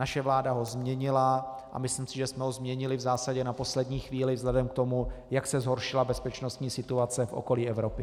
Naše vláda ho změnila a myslím si, že jsme ho změnili v zásadě na poslední chvíli vzhledem k tomu, jak se zhoršila bezpečnostní situace v okolí Evropy.